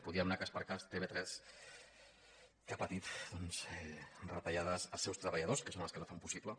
podríem anar cas per cas tv3 que ha patit retallades als seus treballadors que són els que la fan possible